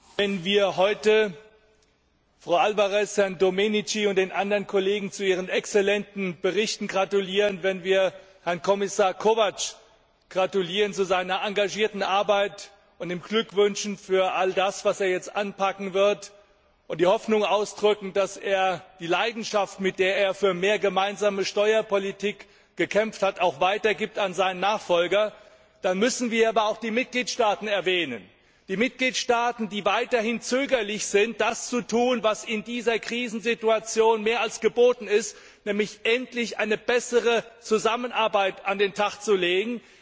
Herr Präsident! Wenn wir heute Frau Alvarez, Herrn Domenici und den anderen Kollegen zu ihren exzellenten Berichten gratulieren, wenn wir Kommissar Kovács zu seiner engagierten Arbeit gratulieren und ihm Glück wünschen für all das, was er jetzt anpacken wird, und die Hoffnung ausdrücken, dass er die Leidenschaft, mit der er für mehr gemeinsame Steuerpolitik gekämpft hat, auch an seinen Nachfolger weitergibt, dann müssen wir aber auch die Mitgliedstaaten erwähnen die Mitgliedstaaten, die weiterhin zögern, das zu tun, was in dieser Krisensituation mehr als geboten ist, nämlich endlich eine bessere Zusammenarbeit an den Tag zu legen.